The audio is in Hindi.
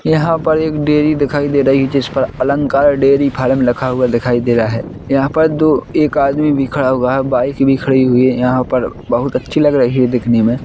यहाँ पर एक डेरी दिखाई दे रही है जिस पर अलंकार डेरी फार्म लिखा हुआ दिखाई दे रहा है। यहाँ पर दो एक आदमी भी खड़ा हुआ है। बाइक भी खड़ी हुई है यहाँ पर बहुत अच्छी लग रही है दिखने में।